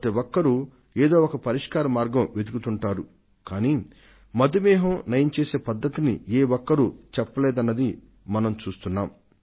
ప్రతి ఒక్కరూ ఏదో ఒక పరిష్కార మార్గాన్ని వెదకుతుంటారు గానీ మధుమేహాన్ని నయం చేసే పద్ధతిని ఏ ఒక్కరూ చెప్పలేదన్నది మనం చూస్తున్నాం